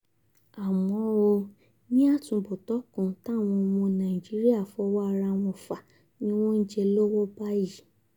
àmọ́ ó ní àtúbọ̀tán nǹkan táwọn ọmọ nàìjíríà fọwọ́ ara wọn fà ni wọ́n ń jẹ lọ́wọ́ báyìí